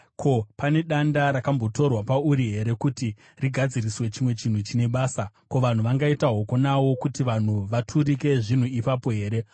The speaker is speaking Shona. Ko, pane danda rakambotorwa pauri here kuti rigadziriswe chimwe chinhu chine basa? Ko, vanhu vangaita hoko nawo kuti vanhu vaturike zvinhu ipapo here?